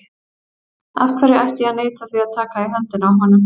Af hverju ætti ég að neita því að taka í höndina á honum?